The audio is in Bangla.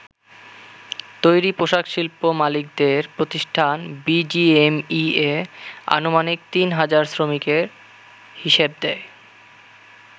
তৈরি পোশাক শিল্প মালিকদের প্রতিষ্ঠান বিজিএমইএ আনুমানিক তিন হাজার শ্রমিকের হিসেব দেয়।